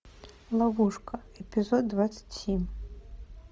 ловушка эпизод двадцать семь